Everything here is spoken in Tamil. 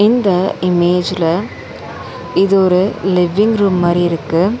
இந்த இமேஜ்ல இது ஒரு லிவ்விங் ரூம் மாரி இருக்கு.